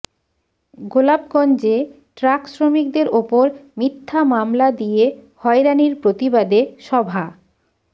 গোলাপগঞ্জে truck শ্রমিকদের ওপর মিথ্যা মামলা দিয়ে হয়রানীর প্রতিবাদে সভা